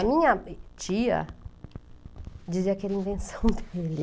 A minha tia dizia que era invenção dele.